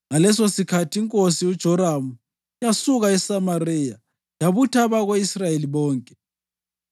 Ngalesosikhathi inkosi uJoramu yasuka eSamariya yabutha abako-Israyeli bonke.